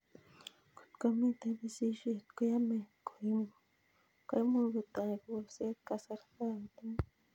Kotko mito pisishet koyamei ko imuch kotoi kolset kasarta agetugul